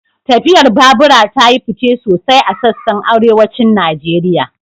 Tafiyar babura ta yi fice sosai a sassan Arewacin Najeriya